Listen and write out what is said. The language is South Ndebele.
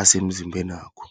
asemzimbenakho.